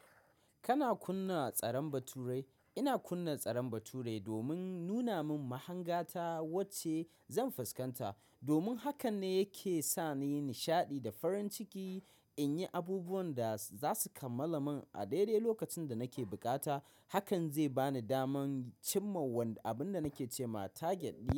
Kana kunna tsaron baturai? Ina kunna tsaron bature domin nuna min mahanga ta wacce zan fuskanta, domin hakan ne yake sa ni nishaɗi da farin ciki in yi abubuwan da za su kammala min a daidai lokacin da nake bukata. Hakan zai ba ni daman cimma wanda abun da nake ce ma target ɗina.